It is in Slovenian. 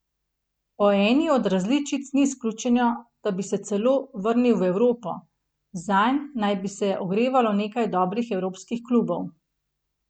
Po eni od različic ni izključeno, da bi se celo vrnil v Evropo, zanj naj bi se ogrevalo nekaj dobrih evropskih klubov.